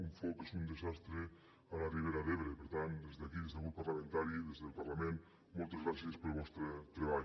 un foc és un desastre a la ribera d’ebre per tant des d’aquí des del grup parlamentari des del parlament moltes gràcies pel vostre treball